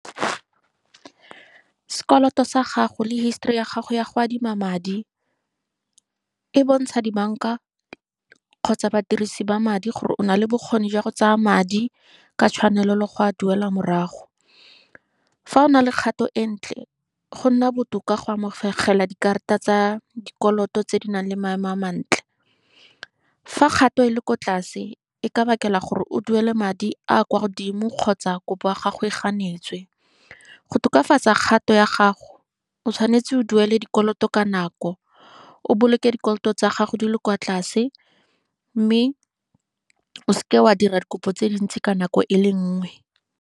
Sekoloto sa gago le histori ya gago ya go adima madi, e bontsha dibanka kgotsa badirisi ba madi gore o nale bokgoni jwa go tsaya madi, ka tshwanelo le go a duela morago. Fa o na le kgato e ntle, go nna botoka go amogela dikarata tsa dikoloto tse di nang le maemo a mantle. Fa kgato e le ko tlase, e ka bakela gore o duele madi a a kwa godimo kgotsa kopo ya gagwe ga a neetswe, go tokafatsa kgato ya gago, o tshwanetse o duele dikoloto ka nako, o boloke dikoloto tsa gago di le kwa tlase. Mme o seke wa dira dikopo tse dintsi ka nako e le nngwe.